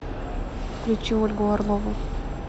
включи ольгу орлову